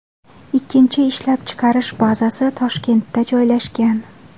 Ikkinchi ishlab chiqarish bazasi Toshkentda joylashgan.